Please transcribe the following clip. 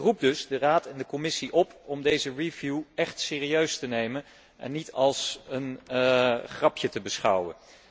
Ik roep dus de Raad en de Commissie op om deze review echt serieus te nemen en niet als een grapje te beschouwen.